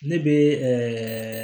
Ne bɛ